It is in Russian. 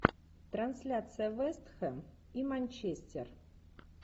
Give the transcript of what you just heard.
трансляция вест хэм и манчестер